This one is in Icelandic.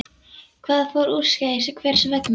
Hvað fór úrskeiðis og hvers vegna?